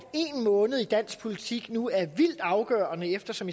en måned i dansk politik nu er vildt afgørende eftersom